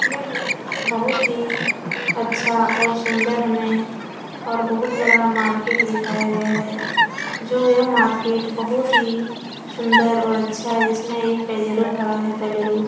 यह ए बहोत ही अच्छा और सुन्दर में और बहोत बड़ा मार्केट दिखाया गया है। जो यह मार्केट बहोत ही सुन्दर और अच्छा है और जिसमे एक पजेरो खड़ा है बलेरो।